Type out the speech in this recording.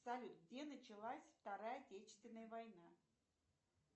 салют где началась вторая отечественная война